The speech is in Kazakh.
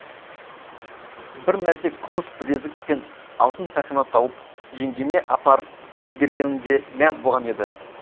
бір мәрте күміс білезік пен алтын сақина тауып жеңгеме апарып бергенімде мәз болған еді